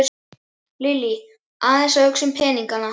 Lillý: Aðeins að hugsa um peningana?